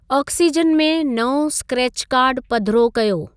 Oxygen में नओं scratch card पधिरो कयो।